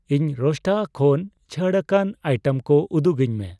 ᱤᱧ ᱨᱳᱥᱴᱟᱟ ᱠᱷᱚᱱ ᱪᱷᱟᱹᱲᱟᱠᱟᱱ ᱟᱭᱴᱮᱢ ᱠᱚ ᱩᱫᱩᱜᱟᱹᱧ ᱢᱮ ᱾